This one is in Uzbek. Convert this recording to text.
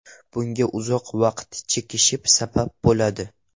Bunga uzoq vaqt chekish sabab bo‘ladi.